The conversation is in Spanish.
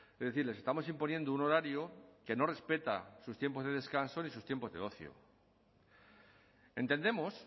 es decir les estamos imponiendo un horario que no respeta sus tiempos de descanso ni sus tiempos de ocio entendemos